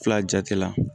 Fila jati la